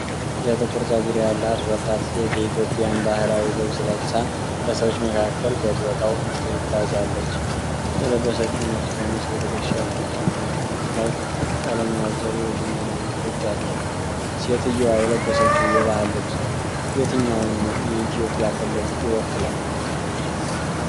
የጥቁር ጸጉር ያላት ወጣት ሴት የኢትዮጵያን ባህላዊ ልብስ ለብሳ በሰዎች መካከል በቦታው ትጓዛለች። የለበሰችው ነጭ ቀሚስ በትከሻ፣ እጅጌ እና ቀሚስ ላይ ቀለም ያዘሉ የሽመና ንድፎች አሉት። ሴትየዋ የለበሰችው የባህል ልብስ የትኛውን የኢትዮጵያ ክልል ይወክላል?